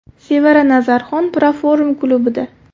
Sevara Nazarxon Proform klubida.